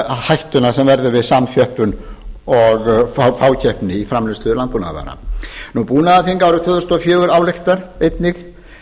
hættuna sem verður við samþjöppun og fákeppni í framleiðslu landbúnaðarvara búnaðarþing árið tvö þúsund og fjögur ályktar einnig